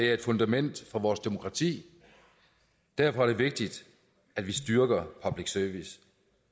er et fundament for vores demokrati derfor er det vigtigt at vi styrker public service